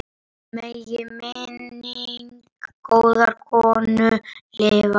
Megi minning góðrar konu lifa.